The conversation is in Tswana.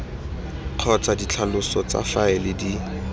kgotsa ditlhaloso tsa faele di